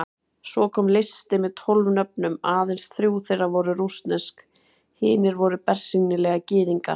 Svo kom listi með tólf nöfnum, aðeins þrjú þeirra voru rússnesk, hinir voru bersýnilega Gyðingar.